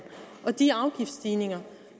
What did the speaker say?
og de afgiftsstigninger